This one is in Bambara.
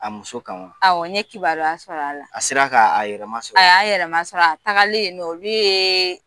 A muso kan wa, awɔ n ye kibaruya sɔrɔ a la, a sera k'a yɛrɛ masɔrɔ a y'a yɛrɛ masɔrɔ a tagalen yen nɔ olu ye